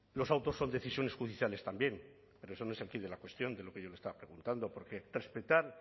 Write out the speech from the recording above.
los autos son decisiones judiciales también pero eso no es el quid de la cuestión de lo que yo le estaba preguntando porque respetar